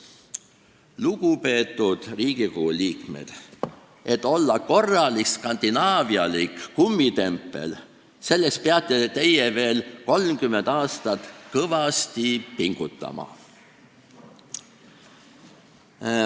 Lugupeetud Riigikogu liikmed, et olla korralik skandinaavialik kummitempel, selleks peate te veel 30 aastat kõvasti pingutama.